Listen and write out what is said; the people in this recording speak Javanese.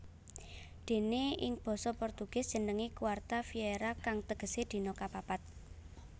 Déné ing basa Portugis jenengé quarta feira kang tegesé dina kapapat